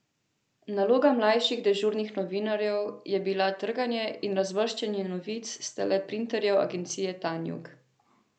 Naloga mlajših dežurnih novinarjev je bila trganje in razvrščanje novic s teleprinterjev agencije Tanjug.